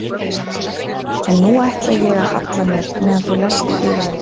En nú ætla ég að halla mér meðan þú lest fyrir mig.